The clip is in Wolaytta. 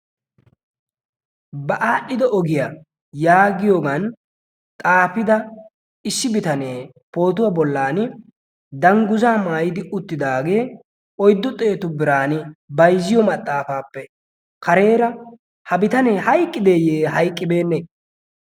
ba aadhdhido ogiyaa yaagiyoogan xaafida issi bitanee pootuwaa bollan dangguzaa maayidi uttidaagee oyddu xeetu biran bayzziyo maxaafaappe kareera ha bitanee hayqqideeyyee hayqqibeenne